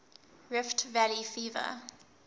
rift valley fever